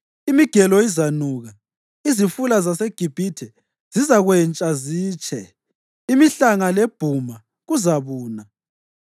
Imigelo izanuka, izifula zaseGibhithe zizakwentsha zitshe. Imihlanga lebhuma kuzabuna,